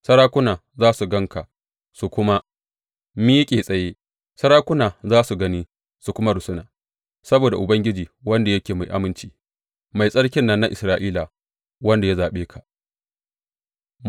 Sarakuna za su gan ka su kuma miƙe tsaye, sarakuna za su gani su kuma rusuna, saboda Ubangiji, wanda yake mai aminci, Mai Tsarkin nan na Isra’ila, wanda ya zaɓe ka.